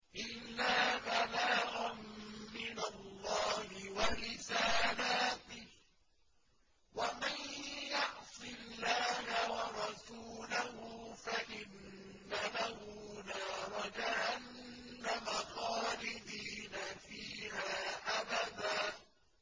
إِلَّا بَلَاغًا مِّنَ اللَّهِ وَرِسَالَاتِهِ ۚ وَمَن يَعْصِ اللَّهَ وَرَسُولَهُ فَإِنَّ لَهُ نَارَ جَهَنَّمَ خَالِدِينَ فِيهَا أَبَدًا